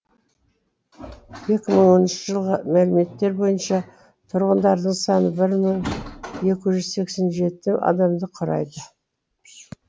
екі мың оныншы жылғы мәліметтер бойынша тұрғындарының саны бір мың екі жүз сексен жеті адамды құрайды